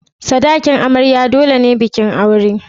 Sadakin amarya dole ne bikin aure.